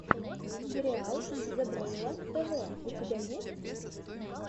сериал зебрэйла тв у тебя есть